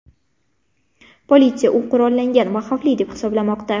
Politsiya u qurollangan va xavfli deb hisoblamoqda.